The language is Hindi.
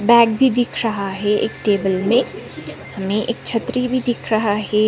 बैग भी दिख रहा है एक टेबल में में एक छत्री भी दिख रहा हैं।